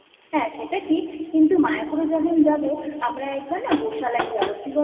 হ্যাঁ সেটা ঠিক কিন্তু মায়াপুরে যখন যাবো আমরা একবার না গোশালা যাবো কি বলতো